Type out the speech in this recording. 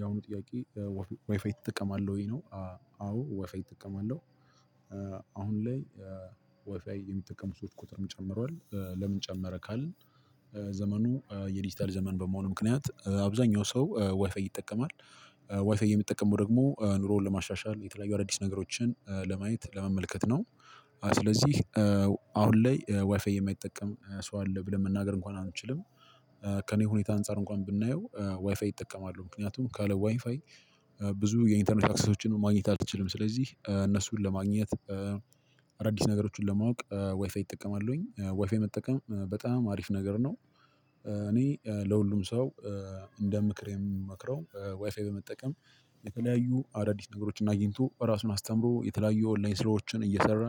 ያሁኑ ጥያቄ ያው ዋይፋይ ትጠቀማለህ ወይ ነው? አዎ ዋይፋይ እጠቅማለሁ። አሁን ላይ ዋይፋይ የሚጠቀሙ ሰዎች ቁጥርም ጨምሯል። ለምን ጨመረ ካልን? ዘመኑ የዲጂታል ዘመን በመሆኑ ምክንያት አብዛኛው ሰው ዋይፋይ ይጠቀማል። ዋይፋይ የሚጠቀመው ደግሞ ኑሮን ለማሻሻል የተለያዩ አዳዲስ ነገሮችን ለማየት ለመመልከት ነው። ስለዚህ አሁን ላይ ዋይፋይ የማይጠቀም ሰው አለ ብለን መናገር እንኳን አንችልም። ከእኔ ሁኔታ አንፃር እንኳን ብናየው ዋይፋይ ይጠቀማሉ ምክንያቱም ካለ ዋይፋይ። ብዙ የኢንተርኔት አክሰሶችን ማግኘት አትችልም ስለዚህ እነሱን ለማግኘት። አዲስ ነገሮችን ለማወቅ ዋይፋይ እጠቀማሉኝ ዋይፋይ መጠቀም በጣም አሪፍ ነገር ነው። እኔ ለሁሉም ሰው። እንደ ምክር የምመክረው ዋይፋይ በመጠቀም። የተለያዩ አዳዲስ ነገሮች አግኝቶ ራሱን አስተምሮ የተለያዩ የኦንላይን ስራዎችን እየሰራ።